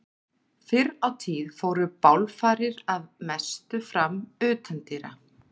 Fyrr á tíð fóru bálfarir að mestu fram utandyra.